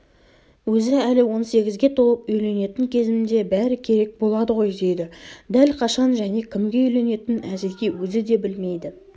өзі әлі он сегізге толып үйленетін кезімде бәрі керек болады ғой дейді дәл қашан және кімге үйленетінін әзірге өзі де білмейді